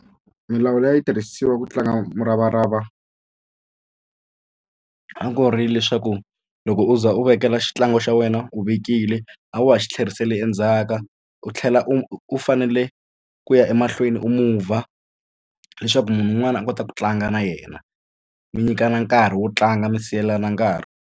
Milawu leyi yi tirhisiwa ku tlanga muravarava a ku ri leswaku loko u za u vekela xitlangu xa wena u vekile a wa ha xi tlherisela endzhaka u tlhela u fanele ku ya emahlweni u mover leswaku munhu un'wana a kota ku tlanga na yena mi nyikana nkarhi wo tlanga mi siyelana nkarhi.